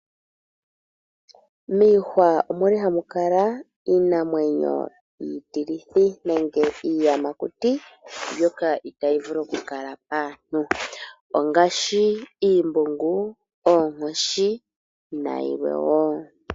Miihwa omuli hamu kala iinamwenyo iitilithi nenge iiyamakuti mbyoka itayi vulu oku kala paantu, ongaashi iimbungu, oonkoshi nayilwe wo.